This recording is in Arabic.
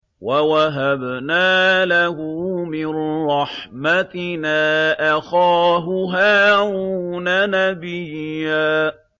وَوَهَبْنَا لَهُ مِن رَّحْمَتِنَا أَخَاهُ هَارُونَ نَبِيًّا